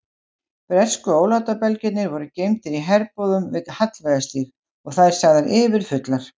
Bresku ólátabelgirnir voru geymdir í herbúðum við Hallveigarstíg og þær sagðar yfirfullar.